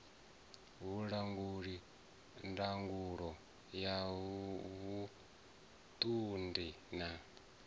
vhulanguli ndangulo ya vhuṱundi na